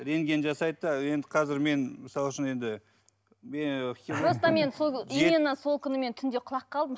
рентген жасайды да енді қазір мен мысал үшін енді просто мен сол именно сол күні мен түнде құлап қалдым